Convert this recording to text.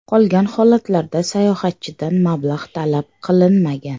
Qolgan holatlarda sayohatchidan mablag‘ talab qilinmagan.